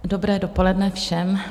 Dobré dopoledne všem.